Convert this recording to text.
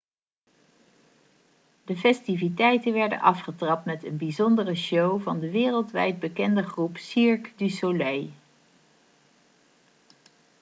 de festiviteiten werden afgetrapt met een bijzondere show van de wereldwijd bekende groep cirque du soleil